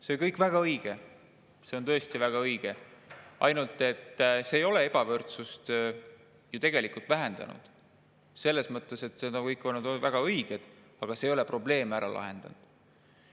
See kõik on väga õige, see on tõesti väga õige, ainult et see ei ole ju tegelikult ebavõrdsust vähendanud, selles mõttes, et see kõik on olnud väga õige, aga see ei ole probleeme ära lahendanud.